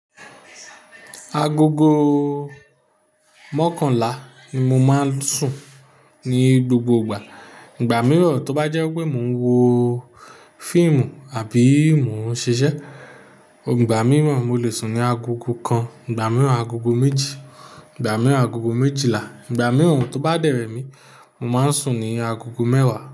Agogo mọ́kànlá ni mo máa ń sùn ní gbogbo ìgbà. Ìgbà mìíràn tó bá jẹ́ pé mò ń wo fíìmù àbí mò ń ṣiṣẹ́, ìgbà mìíràn mo lè sùn ní agogo kan, ìgbà mìíràn agogo méjì, ìgbà mìíràn agogo méjìlá, ìgbà mìíràn tó bá dẹrẹ́ mi, mo máa ń sùn ní agogo mẹ́wàá.